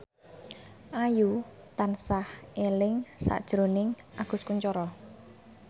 Ayu tansah eling sakjroning Agus Kuncoro